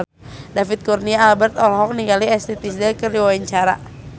David Kurnia Albert olohok ningali Ashley Tisdale keur diwawancara